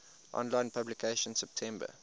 online publication september